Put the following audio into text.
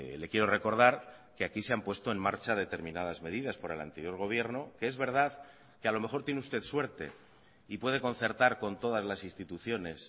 le quiero recordar que aquí se han puesto en marcha determinadas medidas por el anterior gobierno que es verdad que a lo mejor tiene usted suerte y puede concertar con todas las instituciones